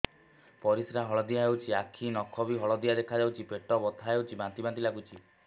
ପରିସ୍ରା ହଳଦିଆ ହେଉଛି ଆଖି ନଖ ବି ହଳଦିଆ ଦେଖାଯାଉଛି ପେଟ ବଥା ହେଉଛି ବାନ୍ତି ବାନ୍ତି ଲାଗୁଛି